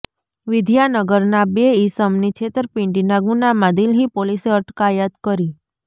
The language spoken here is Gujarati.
વિદ્યાનગરના બે ઇસમની છેતરપિંડીના ગુનામાં દિલ્હી પોલીસે અટકાયત કરી